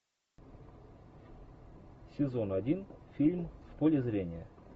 сезон один фильм в поле зрения